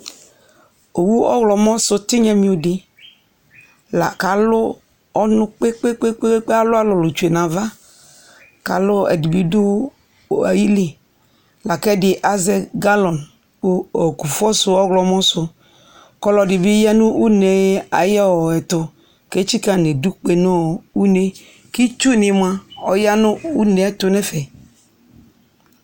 owʋ ɔɣlɔmɔ sʋ tinyamiodi lakʋ alʋ ɔnʋ kpekpekpee alʋ alʋlʋni tsʋe nava alʋdibi dʋ ayili lakɛdi ayɛ galɔn kʋ kʋƒɔsʋ ɔwlɔmɔsʋ kʋ ɔlʋɛdibi aya nʋ ʋnee ayɛtʋ ketsika nʋ idʋkpe nʋ ʋnee kitsʋ nimʋa ɔyanʋ ʋnee yɛtʋ nɛƒɛ